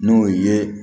N'o ye